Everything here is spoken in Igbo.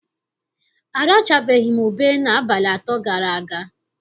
Arachabeghị m ube n'abalị atọ gara aga.